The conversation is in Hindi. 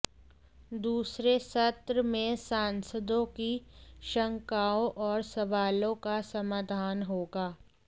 दूसरे सत्र में सांसदों की शंकाओं और सवालों का समाधान होगा